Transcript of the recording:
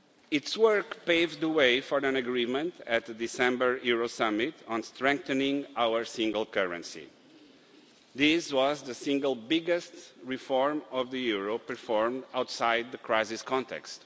Its work paved the way for an agreement at the December Euro Summit on strengthening our single currency. This was the single biggest reform of the euro performed outside the crisis context.